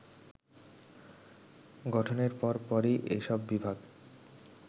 গঠনের পরপরই এসব বিভাগ